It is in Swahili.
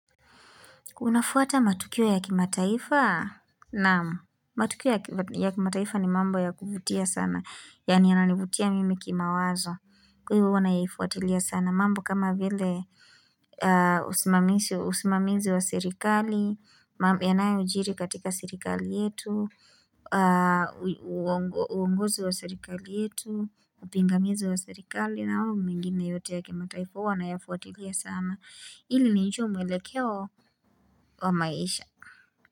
Unafuata matukio ya kimataifa, naam. Matukio ya kimataifa ni mambo ya kuvutia sana. Yaani yananivutia mimi kimawazo. Kwaivo huwa naifuatilia sana. Mambo kama vile usimamizi wa serikali, yanayojiri katika serikali yetu, uongozi wa serikali yetu, upingamizi wa serikali na au mengine yote ya kimataifa huwa nayafuatilia sana. Ili nijue mwelekeo wa maisha.